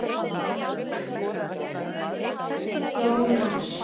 Jónas Sig.